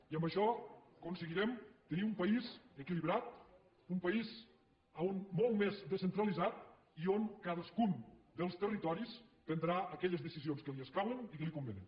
i amb això aconseguirem tenir un país equilibrat un país molt més descentralitzat i on cadascun dels territoris prendrà aquelles decisions que li escauen i que li convenen